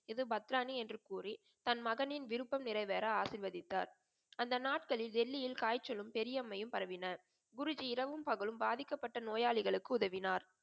இது பத்ராணி என்று கூறி தன் மகனின் விருப்பம் நிறைவேற ஆசிர்வதித்தார். அந்த நாட்களில் டெல்லியில் காய்ச்சலும், பெரிய அம்மையும் பரவின. குருஜி இரவும் பகலும் பாதிக்கப்பட்ட நோயாளிகளுக்கு உதவினார்.